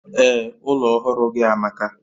Ee, ụlọ ọhụrụ gị amaka